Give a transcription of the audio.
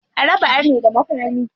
A raba arne da makami.